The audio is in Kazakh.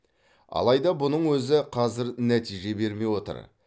алайда бұның өзі қазір нәтиже бермей отыр